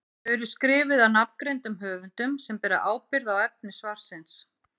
Þau eru skrifuð af nafngreindum höfundum sem bera ábyrgð á efni svarsins.